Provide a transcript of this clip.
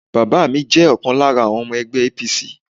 Bàbá mi jẹ́ ọ̀kan lára àwọn ọmọ ẹgbẹ́ APC.